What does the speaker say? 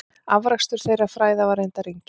Afrakstur þeirra fræða var reyndar enginn.